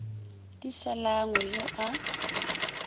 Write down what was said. di sa langwe yo a